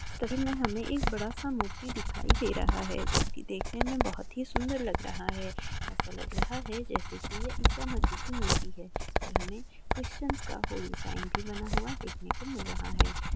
इनमें हमे एक बड़ा सा मूर्ति दिखाई दे रहा है जो की देखने मे बहुत ही सुंदर लग रहा है एसा लग रहा है की जैसे की ये ईसामसि की मूर्ति है इसमें हमे क्रिस्चेन्स का होली साइन भी बना हुआ देखने को मिल रहा है।